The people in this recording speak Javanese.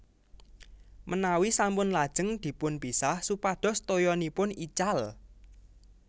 Menawi sampun lajeng dipun pisah supados toyanipun ical